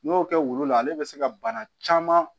N'i y'o kɛ wulu la ale bɛ se ka bana caman